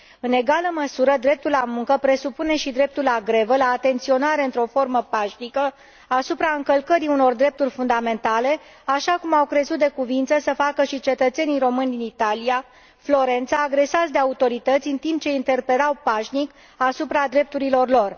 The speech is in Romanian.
În egală măsură, dreptul la muncă presupune și dreptul la grevă, la atenționare într o formă pașnică asupra încălcării unor drepturi fundamentale, așa cum au crezut de cuviință să facă și cetățenii români din Florența, Italia, agresați de autorități în timp ce interpelau pașnic asupra drepturilor lor.